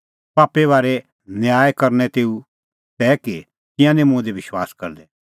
पापे बारै न्याय करनअ तेऊ तै कि तिंयां निं मुंह दी विश्वास करदै